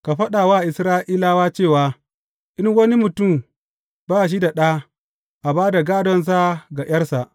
Ka faɗa wa Isra’ilawa cewa, In wani ya mutu ba shi da ɗa, a ba da gādonsa ga ’yarsa.